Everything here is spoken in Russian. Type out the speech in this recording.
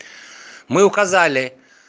мы указали